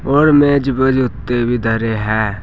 और मेज प जूते भी धरे हैं।